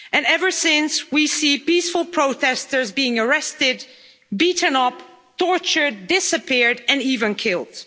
Ever since, we see peaceful protesters being arrested, beaten up, tortured, disappeared' and even killed.